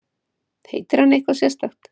Heitir hann eitthvað sérstakt?